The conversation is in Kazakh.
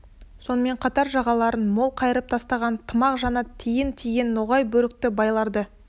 сонымен қатар жағаларын мол қайырып тыстаған тымақ жанат тиін киген ноғай бөрікті байларды